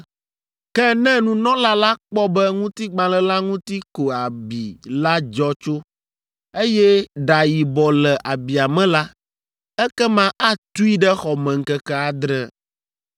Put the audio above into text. Ke ne nunɔla la kpɔ be ŋutigbalẽ la ŋuti ko abi la dzɔ tso, eye ɖa yibɔ le abia me la, ekema atui ɖe xɔ me ŋkeke adre,